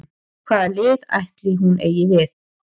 Hvað lið ætli hún eigi við?